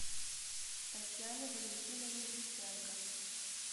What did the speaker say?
татьяны валентиновны гриценко